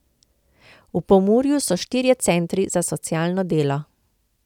V Pomurju so štirje centri za socialno delo.